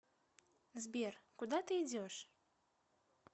сбер куда ты идешь